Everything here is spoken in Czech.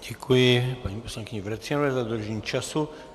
Děkuji paní poslankyni Vrecionové za dodržení času.